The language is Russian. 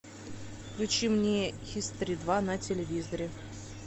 включи мне хистори два на телевизоре